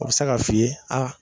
A be se k'a f'i ye a